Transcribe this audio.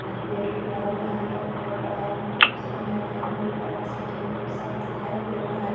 और गेट खुला हुआ है अंदर बहोत बड़ा ही उसका मैदान है ऊपर आसमान एकदम साफ़ दिखा दे रहा है।